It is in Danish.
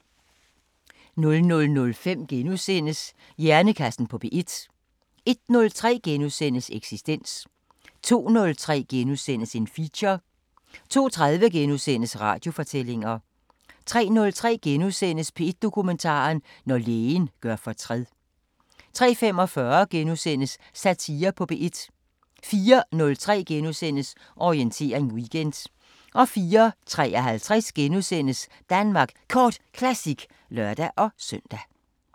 00:05: Hjernekassen på P1 * 01:03: Eksistens * 02:03: Feature * 02:30: Radiofortællinger * 03:03: P1 Dokumentar: Når lægen gør fortræd * 03:45: Satire på P1 * 04:03: Orientering Weekend * 04:53: Danmark Kort Classic *(lør-søn)